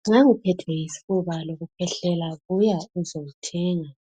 nxa uphethwe yisifuba lokukhwehlela buya uzewuthenga